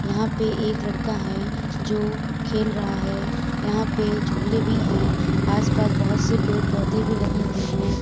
यहां पे एक लड़का है जो खेल रहा है। यहां पे झूले भी हैं। आस-पास बहुत से पेड़ पौधे भी लगे हुए हैं।